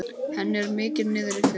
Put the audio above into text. Henni er mikið niðri fyrir.